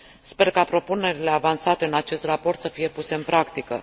Sper ca propunerile avansate în acest raport să fie puse în practică.